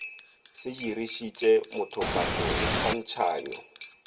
se dirišitše mothofatšo le tshwantšhanyo